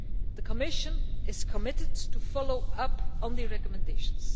The Commission is committed to following up on the recommendations.